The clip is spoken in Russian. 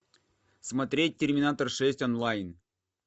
смотреть терминатор шесть онлайн